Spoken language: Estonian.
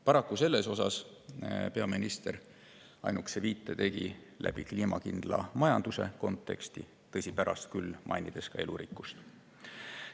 Paraku sellele tegi peaminister ainukese viite kliimakindla majanduse kontekstis, tõsi, pärast küll mainis ka elurikkust.